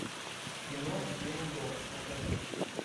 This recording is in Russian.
кино день до покажи